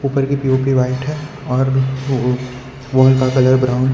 ऊपर की P O P white है और का कलर ब्राऊन है।